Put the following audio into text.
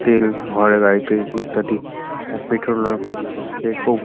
তেল হরে গাড়িতে ইত্যাদি। আ পেট্রোল খুব --